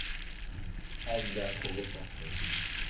Aad baa kugufarxhy.